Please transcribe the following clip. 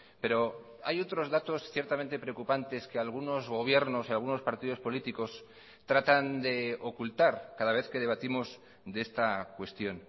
pero hay otros datos ciertamente preocupantes que algunos gobiernos y algunos partidos políticos tratan de ocultar cada vez que debatimos de esta cuestión